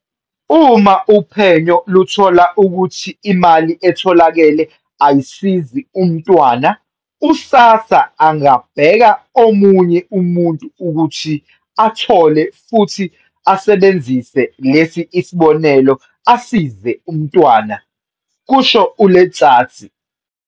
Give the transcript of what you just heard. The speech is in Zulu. Uma uphenyo luthola ukuthi imali etholakele ayisizi umntwana, u-SASSA angabeka omunye umuntu ukuthi athole futhi asebenzise lesi sibonelelo asize umntwana," kusho u-Letsatsi.